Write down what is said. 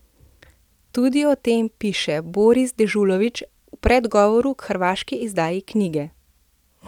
Tudi o tem piše Boris Dežulović v predgovoru k hrvaški izdaji knjige.